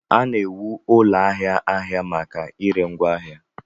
A na-ewu ụlọ ahịa ahịa maka ire ngwaahịa